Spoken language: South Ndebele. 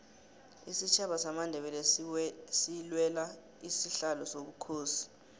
isitjhaba samandebele silwela isihlalo sobukhosi